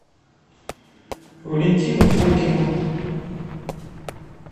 валентину фокину